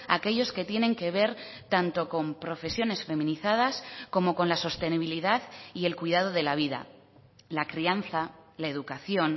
aquellos que tienen que ver tanto con profesiones feminizadas como con la sostenibilidad y el cuidado de la vida la crianza la educación